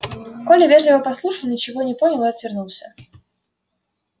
коля вежливо послушал ничего не понял и отвернулся